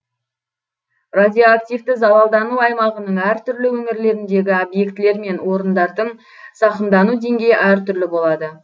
радиоактивті залалдану аймағының әр түрлі өңірлеріндегі объектілер мен орындардың зақымдану деңгейі әр түрлі болады